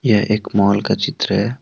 यह एक मॉल का चित्र है।